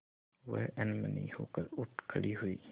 वह अनमनी होकर उठ खड़ी हुई